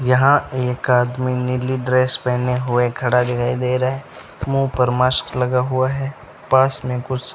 यहां एक आदमी नीली ड्रेस पहने हुए खड़ा दिखाई दे रहा है मुंह पर मास्क लगा हुआ है पास में कुछ --